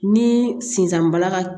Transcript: Ni sisan balala ka